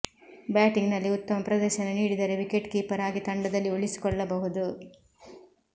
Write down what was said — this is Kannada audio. ಬ್ಯಾಟಿಂಗ್ ನಲ್ಲಿ ಉತ್ತಮ ಪ್ರದರ್ಶನ ನೀಡಿದರೆ ವಿಕೆಟ್ ಕೀಪರ್ ಆಗಿ ತಂಡದಲ್ಲಿ ಉಳಿಸಿಕೊಳ್ಳಬಹುದು